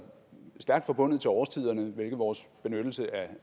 stærkt forbundet til årstiderne hvilket vores benyttelse